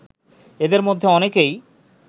এদের মধ্যে অনেকেই